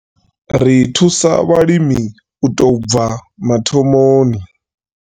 Ri thusa vhalimi u tou bva mathomoni.